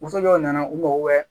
Woso dɔw nana u mago bɛ